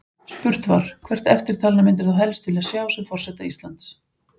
Spurt var: Hvert eftirtalinna myndir þú helst vilja sjá sem forseta Íslands?